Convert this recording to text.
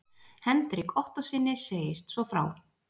Hendrik Ottóssyni segist svo frá